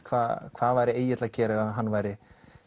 hvað hvað væri Egill að gera ef hann væri